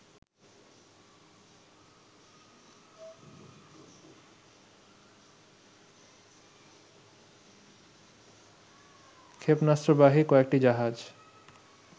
ক্ষেপণাস্ত্রবাহী কয়েকটি জাহাজ